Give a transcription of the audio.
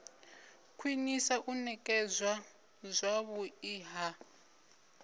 khwinisa u nekedzwa zwavhui ha